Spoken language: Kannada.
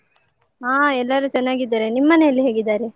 ಹಾ ಎಲ್ಲರೂ ಚೆನ್ನಾಗಿದ್ದಾರೆ. ನಿಮ್ ಮನೇಲಿ ಹೇಗಿದ್ದಾರೆ?